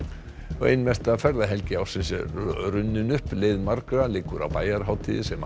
ein mesta ferðahelgi ársins er runnin upp leið margra liggur á bæjarhátíðir sem